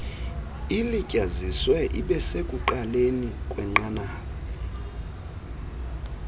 ilityaziswe ibesekuqaleni kwenqanaba